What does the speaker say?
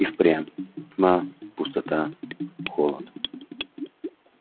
и впрямь тьма пустота холод